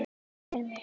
Sé hann fyrir mér.